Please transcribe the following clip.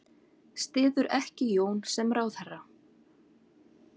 Styður ekki Jón sem ráðherra